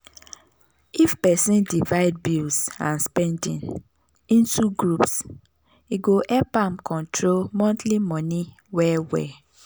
if person divide bills and spending into groups e go help am control monthly money well well.